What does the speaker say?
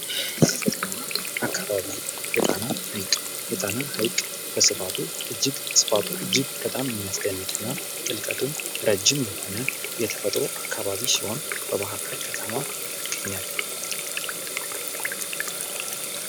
ተፈጥሮና አካባቢ የጣና ሐይቅ የጣና ሐይቅ ስፋቱ እጅግ በጣም የሚያስደንቅና ጥልቀቱም ረጅም የሆነ ተፈጥሮ አካባቢ ሲሆን በባህር ዳር ከተማ ይገኛል።